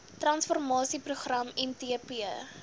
transformasie program mtp